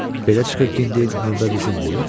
Belə çıxır ki, indi növbə bizimdir?